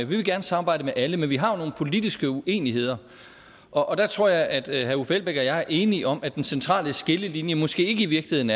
vi vil gerne samarbejde med alle men vi har jo nogle politiske uenigheder og der tror jeg at herre uffe elbæk og jeg er enige om at den centrale skillelinje måske i virkeligheden